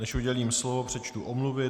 Než udělím slovo, přečtu omluvy.